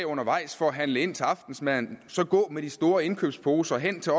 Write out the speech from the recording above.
undervejs for at handle ind til aftensmaden så gå med de store indkøbsposer hen til